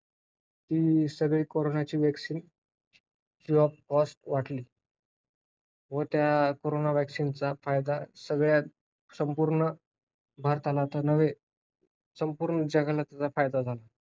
आणि सध्याच आलेल्या एक Ipcc IPCC च्या ए एका रिपोर्ट मध्ये पृथ्वीचे तापमान एक जलद गतीने वाढत आहे.